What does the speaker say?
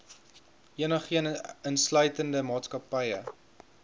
enigeen insluitende maatskappye